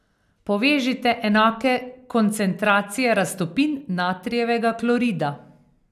Povežite enake koncentracije raztopin natrijevega klorida.